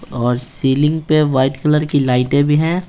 और सीलिंग पे white colour की लाइटें भी हैं।